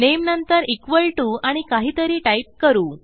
नामे नंतर equal T O आणि काहीतरी टाईप करू